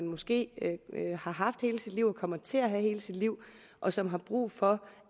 måske har haft hele sit liv og kommer til at have hele sit liv og som har brug for